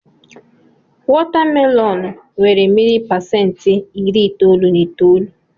Wọta melọn nnwere mmiri pasentị iri itoolu na itoolu.